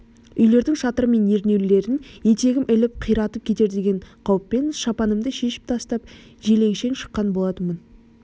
үйлердің шатыры мен ернеулерін етегім іліп қиратып кетер деген қауіппен шапанымды шешіп тастап желетшең шыққан болатынмын